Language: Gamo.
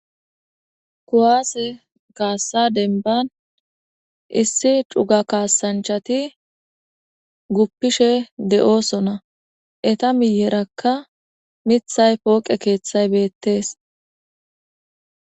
Kuwase kaasa demban,issi cuga kaasanchati,guppishe de'oosona. Eeta miiyeraka miththay pooqe keethay beetees.